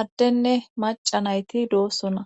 addenne maca nayti doossona.